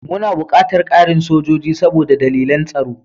Muna buƙatar ƙarin sojoji saboda dalilan tsaro.